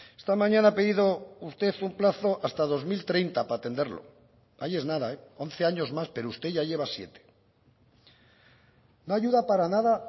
esta mañana ha pedido usted un plazo hasta dos mil treinta para atenderlo ahí es nada once años más pero usted ya lleva siete no ayuda para nada